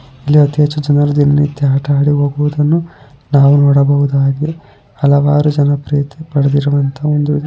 ಇಲ್ಲಿ ಅತಿ ಹೆಚ್ಚು ಜನರು ದಿನನಿತ್ಯ ಆಟ ಆಡಿ ಹೋಗುವುದನ್ನು ನಾವು ನೋಡಬಹುದಾಗಿ ಹಲವಾರು ಜನಪ್ರಿಯತೆ ಪಡೆದಿರುವಂತಹ ಒಂದು --